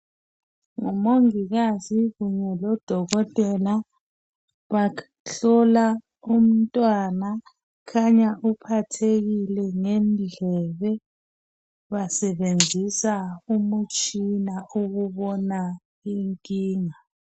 ngumongikaze kunye lodokotela bahlola umntwana kukhanya uphathekile ngendlebe basebenzisa umtshina okubona inkinga